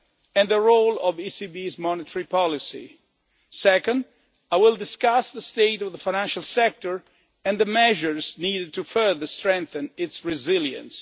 and the role of the ECB's monetary policy. Second, I will discuss the state of the financial sector and the measures needed to further strengthen its resilience.